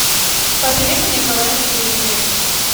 посоветуй мне квн на телевизоре